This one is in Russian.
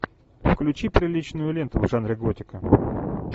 включи приличную ленту в жанре готика